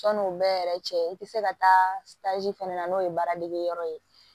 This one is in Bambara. Sɔnni o bɛɛ yɛrɛ cɛ i te se ka taa fɛnɛ na n'o ye baara degeyɔrɔ ye